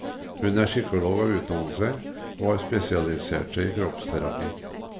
Hun er psykolog av utdannelse, og har spesialisert seg i kroppsterapi.